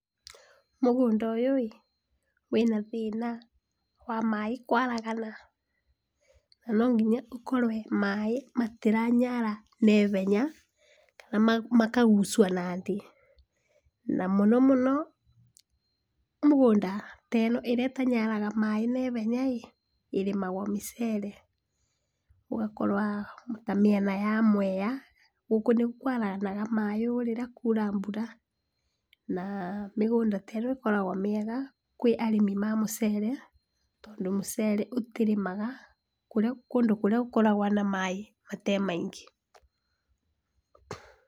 Mũgũnda ũyũ ĩ, wĩna thĩna wa maĩ kwaragana na nonginya ũkorwe maĩ matĩnyara naihenya na makagucwa nathĩ na mũno mũno mũgũnda ta ĩno, ĩrĩa ĩtanyaraga maĩ naihenya ĩrĩmagwo mĩcere ĩgakorwa ta mĩena ya Mwea, gũkũ nĩku kwaragana maĩ rĩrĩa kwaura mbura, na mĩgũnda ta ĩno ĩkoragwa mĩega kwĩ arĩmi ma mũcere, tondũ mũcere ũtĩrĩmaga kũndũ kũrĩa gũkoragwa na maĩ mate maingĩ.